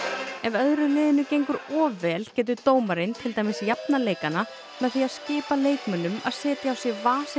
ef öðru liðinu gengur of vel getur dómarinn til dæmis jafnað leikana með því að skipa leikmönnum að setja á sig